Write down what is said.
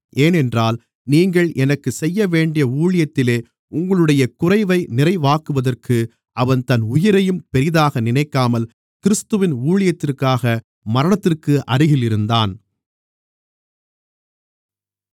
ஏனென்றால் நீங்கள் எனக்குச் செய்யவேண்டிய ஊழியத்திலே உங்களுடைய குறைவை நிறைவாக்குவதற்கு அவன் தன் உயிரையும் பெரிதாக நினைக்காமல் கிறிஸ்துவின் ஊழியத்திற்காக மரணத்திற்கு அருகில் இருந்தான்